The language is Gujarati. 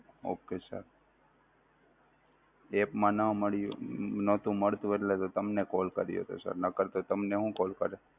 okay sir app માં ન મળી નોહતું મળતું એટલે તો તમને call કર્યો હતો sir નહિતર તો તમને હું call કરું.